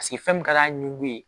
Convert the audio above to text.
Paseke fɛn min ka d'a ɲugu ye